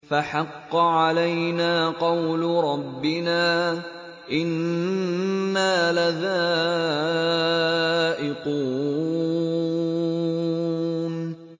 فَحَقَّ عَلَيْنَا قَوْلُ رَبِّنَا ۖ إِنَّا لَذَائِقُونَ